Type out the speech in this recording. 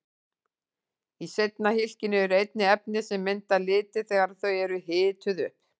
Í seinna hylkinu eru einnig efni sem mynda liti þegar þau eru hituð upp.